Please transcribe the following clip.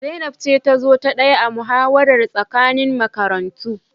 Zainab ce ta zo ta daya a muhawarar tsakanin makarantu